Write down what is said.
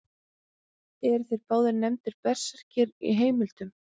Eru þeir báðir nefndir berserkir í heimildum.